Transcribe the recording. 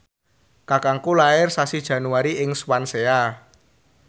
kakangku lair sasi Januari ing Swansea